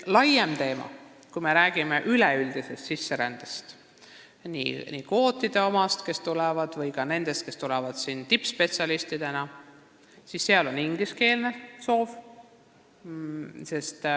Laiem teema on see, et kui me räägime üleüldiselt sisserändajatest – nii nendest, kes tulevad kvootide tõttu, kui ka nendest, kes tulevad siia tippspetsialistidena –, siis neil on soov õppida inglise keeles.